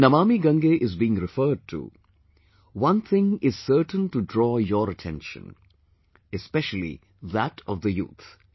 When Namami Gange is being referred to, one thing is certain to draw your attention...especially that of the youth